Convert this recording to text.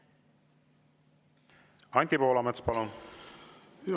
Anti Poolamets, palun!